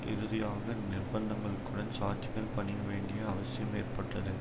இறுதியாக நிர்பந்தங்களுக்குடன் சாட்சிகள் பணிய வேண்டிய அவசியம் ஏற்பட்டது